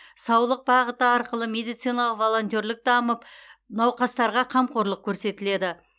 саулық бағыты арқылы медициналық волонтерлік дамып науқастарға қамқорлық көрсетіледі